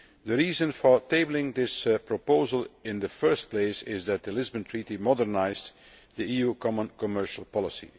The reason for tabling this proposal in the first place is that the Lisbon Treaty modernised EU common commercial policy.